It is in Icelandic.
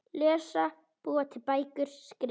Lesa- búa til bækur- skrifa